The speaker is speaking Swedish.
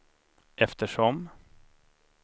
eftersom